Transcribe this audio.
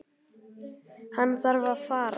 Hann þarf að fara.